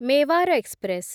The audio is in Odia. ମେୱାର ଏକ୍ସପ୍ରେସ୍